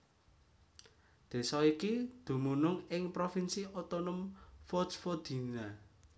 Désa iki dumunung ing provinsi otonom Vojvodina